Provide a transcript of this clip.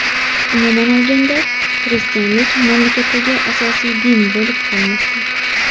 Umuman olganda, xristianlik mamlakatdagi asosiy din bo‘lib qolmoqda.